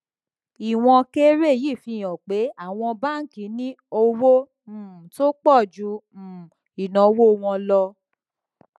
ìwọn kéré yìí fi hàn pé àwọn báńkì ní owó um tó pọ ju um ìnáwó wọn lọ